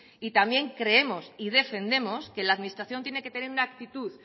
y también creemos y defendemos que la administración tiene que tener una actitud